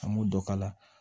An m'o dɔ kala